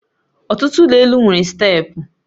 Ọtụtụ ụlọ elụ nwere steepụ